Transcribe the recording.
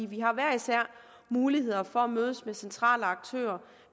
vi har hver især muligheder for at mødes med centrale aktører